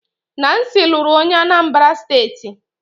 Nancy lụrụ onye Anambra steeti